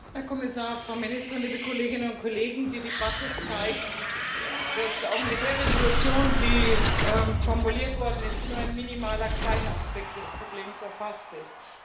Frau Präsidentin, Herr Kommissar, Frau Ministerin, liebe Kolleginnen und Kollegen! Die Debatte zeigt, dass auch mit der Entschließung, die formuliert worden ist, nur ein minimaler, kleiner Aspekt des Problems erfasst ist.